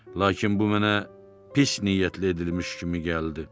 Lakin bu mənə pis niyyətlə edilmiş kimi gəldi.